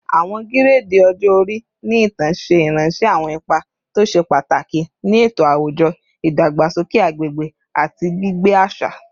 Awọn giredi ọjọ-ori ni itan ṣe iranṣẹ awọn ipa to ṣe pataki ni eto awujọ, idagbasoke agbegbe, ati gbigbe aṣa